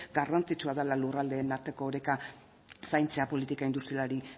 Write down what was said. garrantzitsua dela lurraldeen arteko oreka zaintzea politika industrialari